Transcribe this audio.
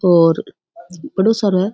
और बड़ो सारो है।